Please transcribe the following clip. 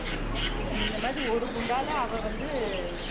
இந்த மாதிரி ஒரு குண்டால அவ வந்து